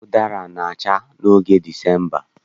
Ụdara na-acha n'oge Disemba